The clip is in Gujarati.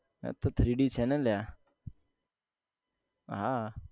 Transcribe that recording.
હતો three D છે ને અલ્યા હા